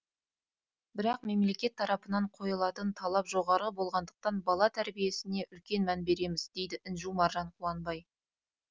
бірақ мемлекет тарапынан қойылатын талап жоғары болғандықтан бала тәрбиесіне үлкен мән береміз дейді інжу маржан қуанбай